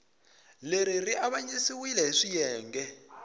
leri ri avanyisiwile hi swiyenge